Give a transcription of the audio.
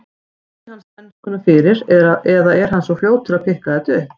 Kunni hann spænskuna fyrir eða er hann svona fljótur að pikka þetta upp?